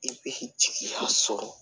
I bɛ jigiya sɔrɔ